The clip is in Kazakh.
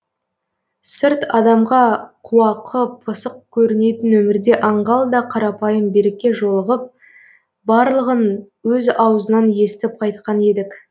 сырт адамға қуақы пысық көрінетін өмірде аңғал да қарапайым берікке жолығып барлығын өз аузынан естіп қайтқан едік